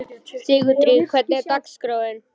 Sigurdríf, hvernig er dagskráin?